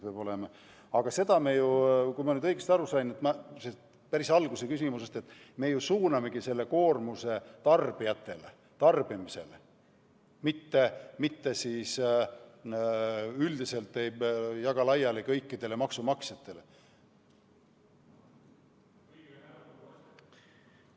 Aga kui ma nüüd päris küsimuse algusest õigesti aru sain, siis ütlen, et me suunamegi ju selle koormuse tarbijatele, tarbimisele, mitte ei jaga üldiselt laiali kõikidele maksumaksjatele.